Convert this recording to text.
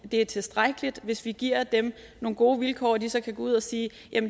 er tilstrækkeligt hvis vi giver dem nogle gode vilkår og de så kan gå ud og sige